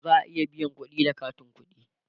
za'a iya biyan kudi da katin ƙuɗi